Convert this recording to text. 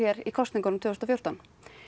í kosningunum tvö þúsund og fjórtán